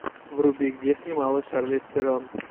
вруби где снималась шарлиз терон